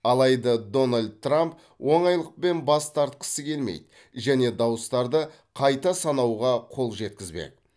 алайда дональд трамп оңайлықпен бас тартқысы келмейді және дауыстарды қайта санауға қол жеткізбек